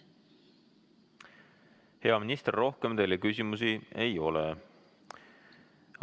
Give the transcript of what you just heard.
Hea minister, rohkem teile küsimusi ei ole.